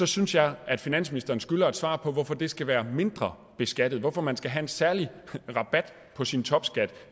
synes jeg at finansministeren skylder et svar på hvorfor det skal være mindre beskattet hvorfor man skal have en særlig rabat på sin topskat